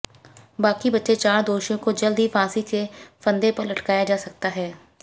बाकी बचे चार दोषियों को जल्द ही फांसी के फंदे पर लटकाया जा सकता है